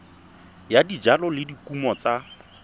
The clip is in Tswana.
ya dijalo le dikumo tsa